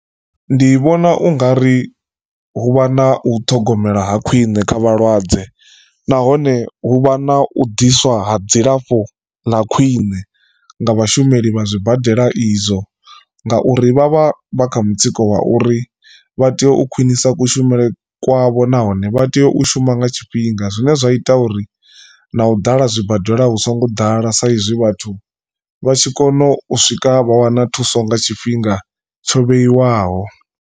Ndi vhona u nga ri hu vha na u ṱhogomela ha khwine kha vhalwadze nahone hu vha na u ḓiswa ha dzilafho ḽa khwine nga vhashumeli vha zwibadela izwo, ngauri vha vha vha kha mutsiko wa uri vha tea u khwinisa kushumele kwavho nahone vha tea u shuma nga tshifhinga, zwine zwa ita uri na u ḓala zwibadela hu songo ḓala saizwi vhathu vha tshi kona u swika vha wana thuso nga tshifhinga tsho vheiwaho.